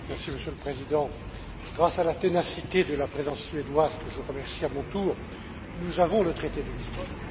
Monsieur le Président, grâce à la ténacité de la Présidence suédoise, que je remercie à mon tour, nous avons le traité de Lisbonne.